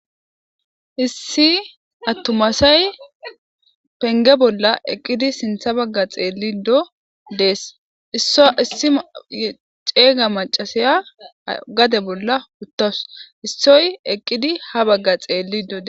Issi atuma asayipege bolla eqidi sintha baga xelishe dese isssi cega machashiya gade bolla utasu issoy eqidi ha baga xelishe dsese